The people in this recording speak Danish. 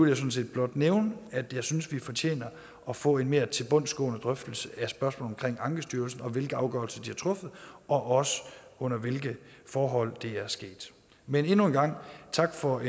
jeg sådan set blot nævne at jeg synes vi fortjener at få en mere tilbundsgående drøftelse af spørgsmålet om ankestyrelsen og hvilke afgørelser de har truffet og også under hvilke forhold det er sket men endnu en gang tak for